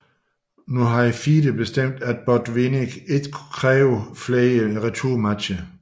Nu havde FIDE bestemt at Botvinnik ikke kunne kræve flere returmatcher